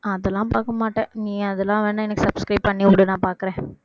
அதெல்லாம் பார்க்க மாட்டேன் நீ அதெல்லாம் வேணா எனக்கு subscribe பண்ணிவிடு நான் பார்க்கிறேன்